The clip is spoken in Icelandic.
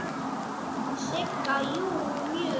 Sigga: Jú, mjög.